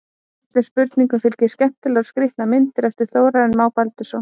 Öllum spurningum fylgja skemmtilegar og skýrandi myndir eftir Þórarinn Má Baldursson.